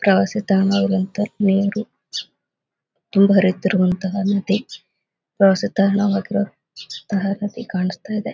ಪ್ರವಾಸಿ ತಾಣ ಆಗಿರುವಂತಹ ನೀರು ತುಂಬಿ ಹರಿಯುವಂತಹ ನದಿ ಪ್ರವಾಸಿ ತಾಣ ಆಗಿರುವಂತಹ ನದಿ ಕಾಣಿಸ್ತಾ ಇದೆ.